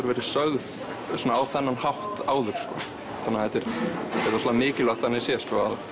verið sögð á þennan hátt áður þannig að þetta er rosalega mikilvægt þannig séð